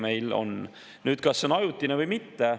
Nüüd sellest, kas see on ajutine või mitte.